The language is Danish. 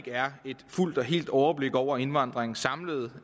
er et fuldt og helt overblik over indvandringens samlede